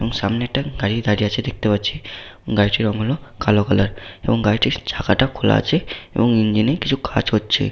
এবং সামনে একটা গাড়ি দাঁড়িয়ে আছে । দেখতে পাচ্ছি গাড়িটির রং হলো কালো কালার এবং গাড়িটির চাকাটা খোলা আছে এবং ইনি কিছু কাজ করছে।